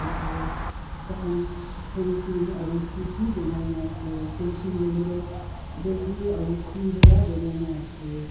aru tar khan fancing aru seat bhi banai na ase fencing hoile tu bamboo aru khori para bonai na ase.